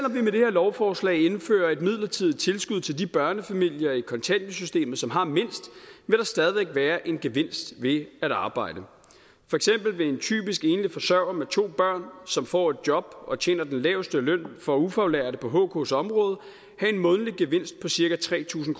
lovforslag indfører et midlertidigt tilskud til de børnefamilier i kontanthjælpssystemet som har mindst vil der stadig væk være en gevinst ved at arbejde for eksempel vil en typisk enlig forsørger med to børn som får et job og tjener den laveste løn for ufaglærte på hks område have en månedlig gevinst på cirka tre tusind